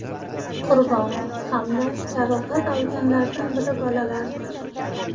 Qurbon hamda jarohat olganlardan biri bolalardir.